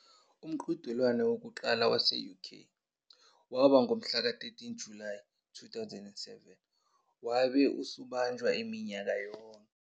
Umqhudelwano wokuqala wase-UK waba ngomhlaka 13 Julayi 2007, wabe usubanjwa minyaka yonke.